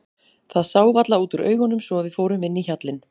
Það sá varla út úr augunum svo að við fórum inn í hjallinn.